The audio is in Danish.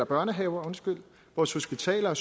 børnehaver vores hospitaler